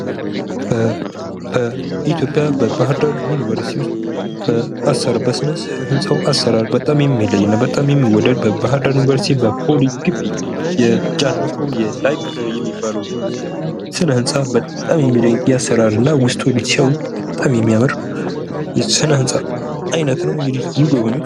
በኢትዮጵያ በባህር ዳር ዩኒበርሲቲ ውስጥ በስነ ህንፃው አሰራር በጣም የሚለይ እና በጣም የሚወደድ በባህር ዳር ዩኒበርሲቲ በፖሊ ግቢ የጃን ሞስኮብ የላይብረሪ ሚባለው ስነ ህንፃ በጣም የሚደንቅ የአሰራር እና ውስጡን ሲያዩት በጣም የሚያምር የስነ ህንፃ አይነት ነው ። እንግዲህ ይጎብኙት ።